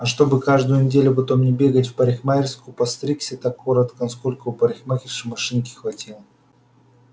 а чтобы каждую неделю потом не бегать в парикмахерскую постригся так коротко насколько у парикмахерши машинки хватило